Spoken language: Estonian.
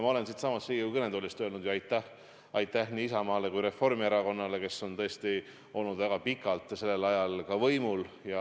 Ma olen siitsamast Riigikogu kõnetoolist öelnud ju aitäh nii Isamaale kui ka Reformierakonnale, kes on tõesti olnud väga pikalt ja ka sellel ajal võimul.